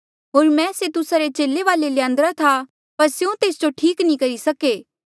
होर मैं से तुस्सा रे चेले वाले ल्यान्दरा था पर स्यों तेस जो ठीक नी करी सके